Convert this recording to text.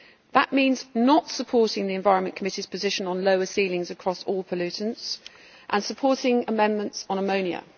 That means not supporting the Environment Committee's position on lower ceilings across all pollutants, and supporting amendments on ammonia.